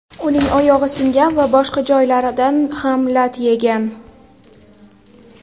Uning oyog‘i singan va boshqa joylaridan ham lat yegan.